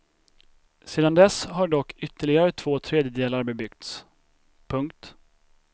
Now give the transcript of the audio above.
Sedan dess har dock ytterligare två tredjedelar bebyggts. punkt